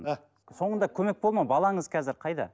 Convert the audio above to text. а соңында көмек болды ма балаңыз қазір қайда